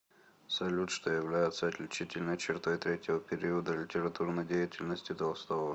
салют что является отличительной чертой третьего периода литературной деятельности толстого